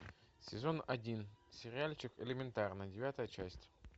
сезон один сериальчик элементарно девятая часть